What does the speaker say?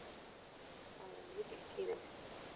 Það eru mikil tíðindi!